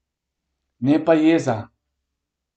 Ne pa jeza.